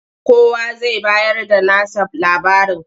Kowa zai bayarda nasa labarin.